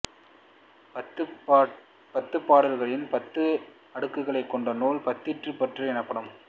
பத்துப் பாடல்களின் பத்து அடுக்குகளைக் கொண்ட நூல் பதிற்றுப்பத்து எனப்படும்